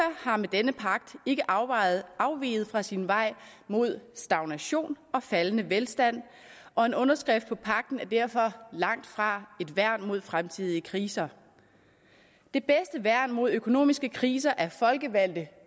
har med denne pagt ikke afveget fra sin vej mod stagnation og faldende velstand og en underskrift på pagten er derfor langt fra et værn mod fremtidige kriser det bedste værn mod økonomiske kriser er folkevalgte